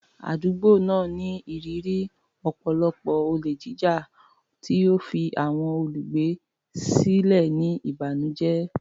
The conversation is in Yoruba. Àdúgbò náà ní ìrírí ọ̀pọ̀lọpọ̀ olè jíjà, tí ó fi àwọn olùgbé sílẹ̀ ní ìbànújẹ́.